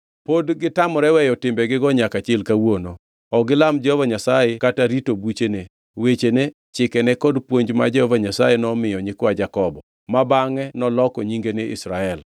Pod gitamore weyo timbegigo nyaka chil kawuono. Ok gilam Jehova Nyasaye kata rito buchene, wechene, chikene kod puonj ma Jehova Nyasaye nomiyo nyikwa Jakobo, ma bangʼe noloko nyinge ni Israel.